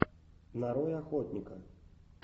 нарой охотника